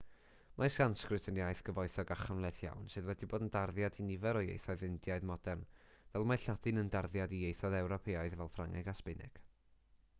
mae sansgrit yn iaith gyfoethog a chymhleth iawn sydd wedi bod yn darddiad i nifer o ieithoedd indiaidd modern fel mae lladin yn darddiad i ieithoedd ewropeaidd fel ffrangeg a sbaeneg